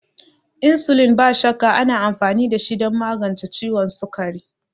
Insulin, ba shakka, ana amfani dashi don magance ciwon sukari.